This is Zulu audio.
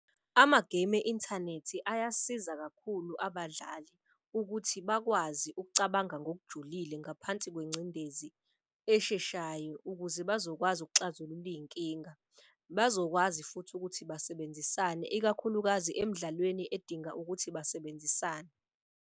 Amagemu e-inthanethi ayasiza kakhulu abadlali ukuthi bakwazi ukucabanga ngokujulile ngaphansi kwencindezi esheshayo. Ukuze bazokwazi ukuxazulula iy'nkinga, bazokwazi futhi ukuthi basebenzisane. Ikakhulukazi emdlalweni edinga ukuthi basebenzisane.